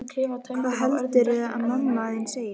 Hvað heldurðu að mamma þín segi?